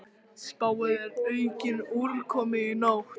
Spáð er aukinni úrkomu í nótt